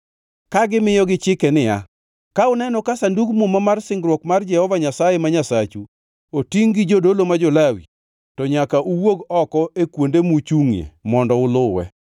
ka gimiyogi chike niya, “Ka uneno ka Sandug Muma mar singruok mar Jehova Nyasaye ma Nyasachu, otingʼ gi jodolo, ma jo-Lawi, to nyaka uwuog oko e kuonde muchungʼie mondo uluwe.